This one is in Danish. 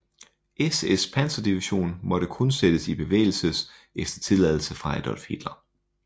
SS panserdivision måtte kun sættes i bevægelses efter tilladelse fra Adolf Hitler